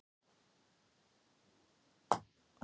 Og hann hefur nú bara gott af því.